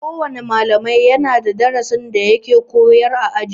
Kowana malami yana da darasi da yake koyar a aji.